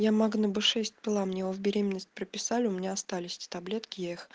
я магне б шесть пила мне его в беременность прописали у меня остались эти таблетки я их